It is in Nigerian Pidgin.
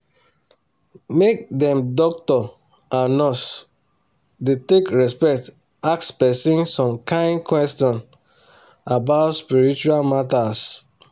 make dem doctor and nurse da take respect ask person some kind question about spiritual matters